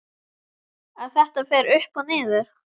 Að þetta fer upp og niður?